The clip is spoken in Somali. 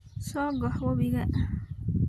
Sogox wabiga.